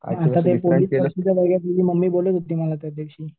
mummy बोलत होती मला त्यादिवशी